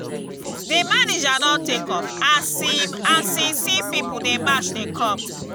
di manager don take off as im as im see pipu dey match dey come.